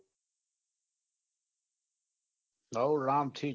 હોવ રામથી જ